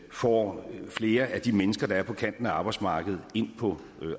får flere af de mennesker der befinder sig på kanten af arbejdsmarkedet ind på